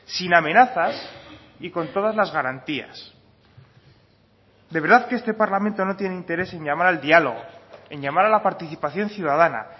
sin amenazas y con todas las garantías de verdad que este parlamento no tiene interés en llamar al diálogo en llamar a la participación ciudadana